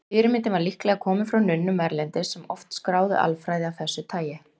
Fyrirmyndin var líklega komin frá nunnum erlendis, sem oft skráðu alfræði af þessu tagi.